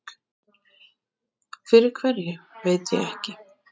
Fyrir hverju veit ég ekki.